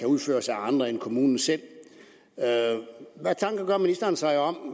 udføres af andre end kommunerne selv hvad tanker gør ministeren sig om